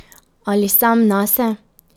Ali sam nase?